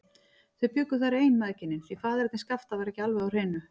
Þau bjuggu þar ein, mæðginin, því faðerni Skapta var ekki alveg á hreinu.